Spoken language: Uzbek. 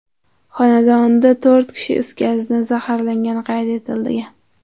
xonadonida to‘rt kishi is gazidan zaharlangani qayd etilgan.